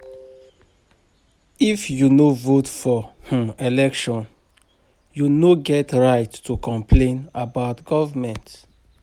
If you no vote for um election, you no get right to complain about government.